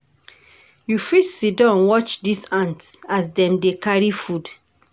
You fit siddon watch dese ants as dem dey carry food.